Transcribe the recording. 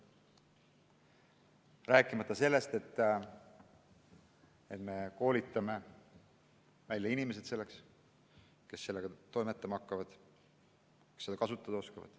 Rääkimata sellest, et me peame koolitama välja inimesed, kes selle kõigega toimetama hakkavad, kes seda kasutada oskavad.